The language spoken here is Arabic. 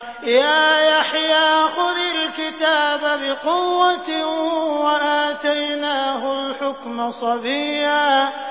يَا يَحْيَىٰ خُذِ الْكِتَابَ بِقُوَّةٍ ۖ وَآتَيْنَاهُ الْحُكْمَ صَبِيًّا